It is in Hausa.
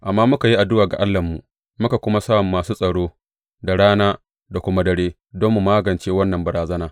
Amma muka yi addu’a ga Allahnmu muka kuma sa masu tsaro da rana da kuma dare don mu magance wannan barazana.